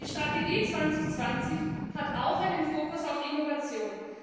Die Strategie 2020 hat auch einen Fokus auf Innovation.